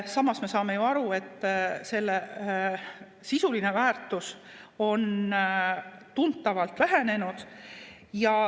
Samas me saame ju aru, et selle sisuline väärtus on tuntavalt vähenenud.